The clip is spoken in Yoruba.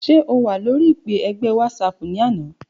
Ṣe o wa lori ipe ẹgbẹ Whatsapp ni ana?